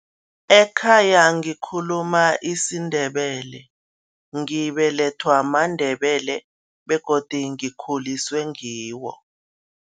Ekhaya ngikhuluma isiNdebele, ngibelethwa maNdebele begodu ngikhuliswe ngiwo.